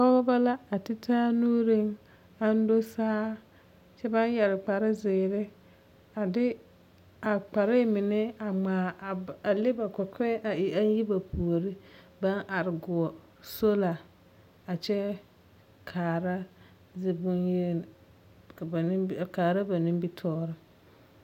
Pɔgeba la a ti taa nuuriŋ aŋ do saa, kyɛ baŋ yɛre kparezeere a de a kpare mine a ŋmaa a le ba kɔkɔɛ a e aŋ yi ba puori baŋ are goɔ sola a kyɛ baŋ kaara ziboŋyeni ka ba nimi a kaara ba nimitɔɔre.